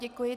Děkuji.